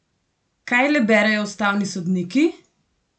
Kaj le berejo ustavni sodniki?